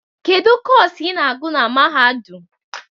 Kedu Kọsu ị na-agụ na mahadum?